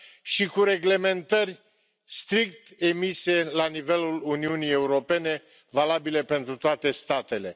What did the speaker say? și cu reglementări strict emise la nivelul Uniunii Europene, valabile pentru toate statele.